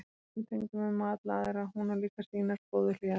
En það er eins með tengdamömmu og alla aðra, hún á líka sínar góðu hliðar.